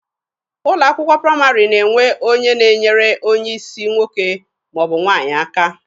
Ụlọ akwụkwọ praịmarị na-enwe onye na-enyere onye isi nwoke ma ọ bụ nwaanyị aka.